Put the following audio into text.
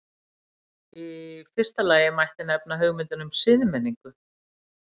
Í fyrsta lagi mætti nefna hugmyndina um siðmenningu.